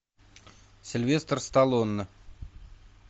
сильвестр сталлоне